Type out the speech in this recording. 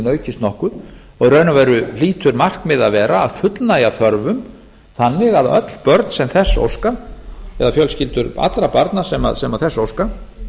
aukist nokkuð í raun og veru hlýtur markmiðið að vera að fullnægja þörfum þannig að öll börn sem þess óska eða fjölskyldur allra barna sem þess óska